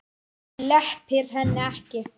Sleppir henni ekki.